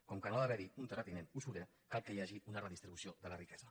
com que no ha d’haver hi un terratinent usurer cal que hi hagi una redistribució de la riquesa